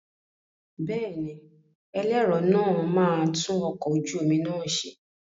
Bẹ́ẹ̀ni, ẹlẹ́rọ náà máa tún ọkọ̀ ojú omi náà ṣe.